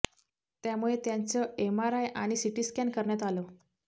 त्यामुळे त्यांचं एमआरआय आणि सीटी स्कॅन करण्यात आलं